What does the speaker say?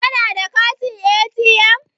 Kana da katin ATM?